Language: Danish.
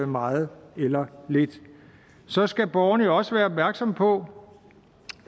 meget eller lidt så skal borgerne også være opmærksomme på